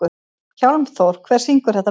Hjálmþór, hver syngur þetta lag?